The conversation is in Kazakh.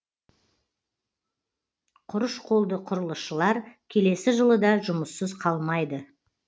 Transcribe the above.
құрыш қолды құрылысшылар келесі жылы да жұмыссыз қалмайды